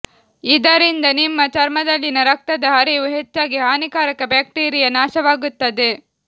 ಇದರಿಂದ ನಿಮ್ಮ ಚರ್ಮದಲ್ಲಿನ ರಕ್ತದ ಹರಿವು ಹೆಚ್ಚಾಗಿ ಹಾನಿಕಾರಕ ಬ್ಯಾಕ್ಟೀರಿಯಾ ನಾಶವಾಗುತ್ತದೆ